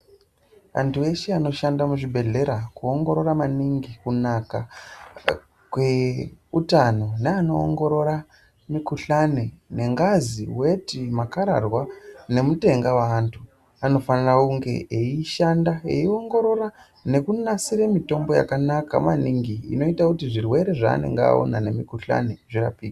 Antu eshe anoshanda muzvibhedhlera kuongorora maningi kunaka kweutano neanoongorora mukhuhlani nengazi , weti ,makararwa nemutenga weantu anofanira kunge eishanda eingorora nekunasire mitombo yakanaka maningi inoita kuti zvirwere zvaanonga aona nemukhuhlani zvirapike .